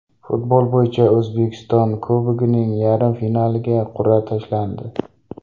Futbol bo‘yicha O‘zbekiston Kubogining yarim finaliga qur’a tashlandi.